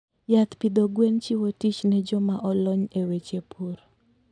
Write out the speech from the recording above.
Yath pidho gwen chiwo tich ne joma olony e weche pur.